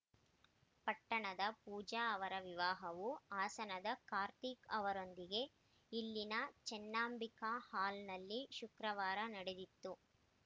ಪಟ್ಟಣದ ಪೂಜಾ ಅವರ ವಿವಾಹವು ಹಾಸನದ ಕಾರ್ತಿಕ್‌ ಅವರೊಂದಿಗೆ ಇಲ್ಲಿನ ಚೆನ್ನಾಂಬಿಕಾ ಹಾಲ್‌ನಲ್ಲಿ ಶುಕ್ರವಾರ ನಡೆದಿತ್ತು